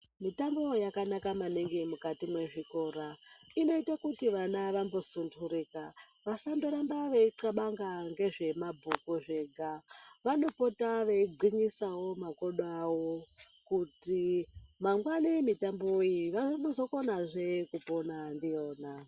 Mitambo yakanaka maningi mukati mwezvikora. Inoito kuti vana vambosundhurika, vasandoramba veixabanga ngezvemabhuku zvega. Vanopota veigwinyisawo makodo awo kuti mangwani mitambo iyi vanozokonazve kupona ndiyona.